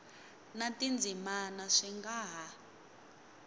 na tindzimana swi nga ha